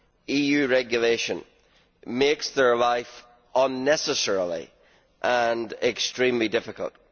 EU regulation makes their lives unnecessarily and extremely difficult.